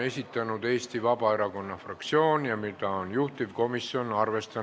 V a h e a e g